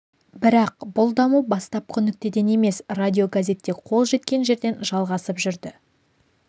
бірақ бұл даму бастапқы нүктеден емес радиогазетте қол жеткен жерден жалғасып жүрді